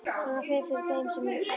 Svona fer fyrir þeim sem eru forvitnir.